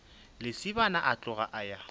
lesibana a tloga a ya